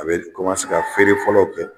A bɛ kɔmanse ka feere fɔlɔw kɛ